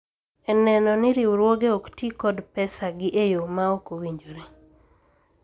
E neno ni riwruoge ok tii kod pesa gi e yoo ma ok owinjore